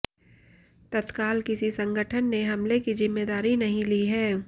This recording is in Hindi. तत्काल किसी संगठन ने हमले की जिम्मेदारी नहीं ली है